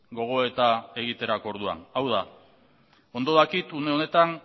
gogoeta egiterako orduan hau da ondo dakit une honetan